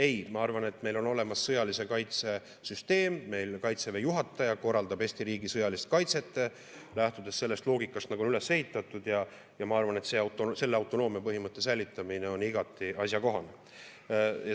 Ei, ma arvan, et meil on olemas sõjalise kaitse süsteem, meil Kaitseväe juhataja korraldab Eesti riigi sõjalist kaitset, lähtudes sellest loogikast, nagu see on üles ehitatud, ja ma arvan, et selle autonoomia põhimõtte säilitamine on igati asjakohane.